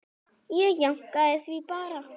Ég jánkaði því bara.